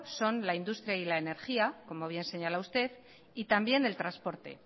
son la industria y la energía como bien señala usted y también el transporte